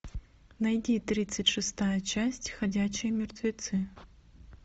найди тридцать шестая часть ходячие мертвецы